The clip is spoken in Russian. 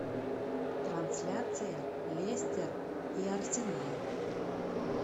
трансляция лестер и арсенал